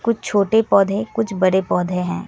कुछ छोटे पौधे कुछ बड़े पौधे हैं।